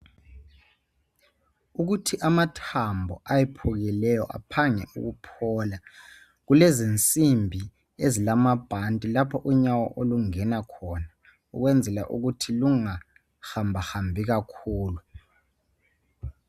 Ukuthi amathambo ayephukileyo aphange ukuphola kulezisimbi ezilamabhanti lapho unyawo olungena khona ukuyenzela ukuthi lungahambahambi kakhulu.